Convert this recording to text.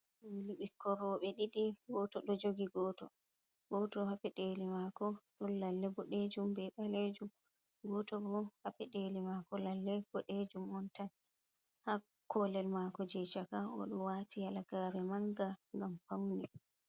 Dum ɓikkon roɓe didi goto ɗo jogi goto. Goto ha pedeli mako don lalle bodejum be balejum goto bo ha pedeli mako lalle bodejum oun tan ha kolel mako je chaka odo wati halagare manga ngam faune.